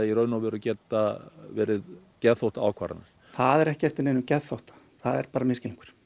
geta verið geðþótta ákvarðanir það er ekki eftir neinum geðþótta það er misskilningur